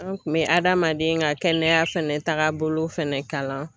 An kun bɛ adamaden ka kɛnɛya fɛnɛ taagabolo fɛnɛ kalan